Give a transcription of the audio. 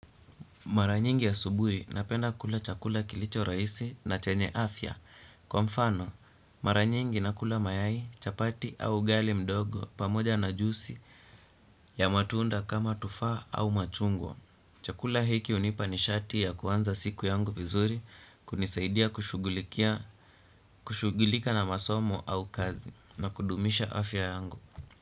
Mara nyingi asubuhi napenda kula chakula kilicho rahisi na chenye afya. Kwa mfano, mara nyingi nakula mayai, chapati au ugali mdogo pamoja na juisi ya matunda kama tufaha au machungwa. Chakula hiki hunipa nishati ya kuanza siku yangu vizuri, kunisaidia kushughulikia kushugulika na masomo au kazi na kudumisha afya yangu.